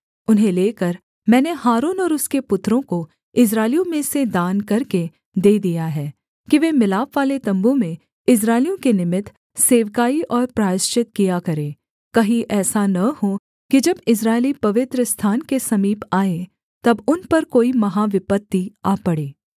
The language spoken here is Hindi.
उन्हें लेकर मैंने हारून और उसके पुत्रों को इस्राएलियों में से दान करके दे दिया है कि वे मिलापवाले तम्बू में इस्राएलियों के निमित्त सेवकाई और प्रायश्चित किया करें कहीं ऐसा न हो कि जब इस्राएली पवित्रस्थान के समीप आएँ तब उन पर कोई महाविपत्ति आ पड़े